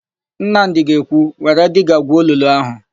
Nnamdị ga-ekwu, "Were diga gwuo olulu áhụ̀"!